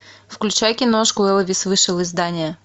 включай киношку элвис вышел из здания